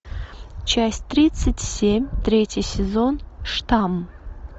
часть тридцать семь третий сезон штамм